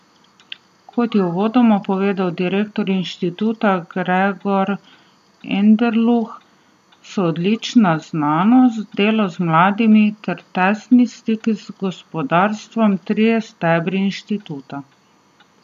Kot je uvodoma povedal direktor inštituta Gregor Anderluh, so odlična znanost, delo z mladimi ter tesni stiki z gospodarstvom trije stebri inštituta.